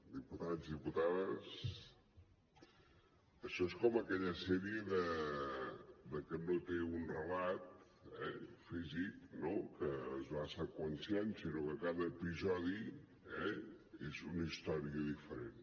diputat i diputades això és com aquella sèrie que no té un relat físic no que es va seqüenciant sinó que cada episodi és una història diferent